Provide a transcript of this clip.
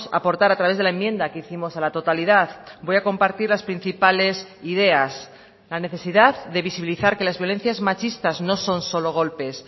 aportar a través de la enmienda que hicimos a la totalidad voy a compartir las principales ideas la necesidad de visibilizar que las violencias machistas no son solo golpes